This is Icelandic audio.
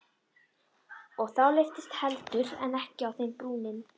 Og þá lyftist heldur en ekki á þeim brúnin.